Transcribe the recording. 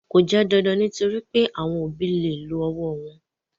Kò jẹ́ dandan nítorí pé àwọn òbí lè lo ọwọ́ wọn.